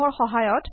ফাইলখন বন্ধ কৰক